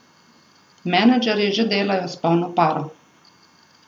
Menedžerji že delajo s polno paro.